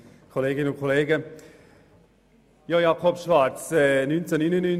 Ich glaube, dieses Occasionsfahrzeug kam von Adelboden.